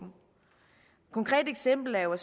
konkret eksempel er jo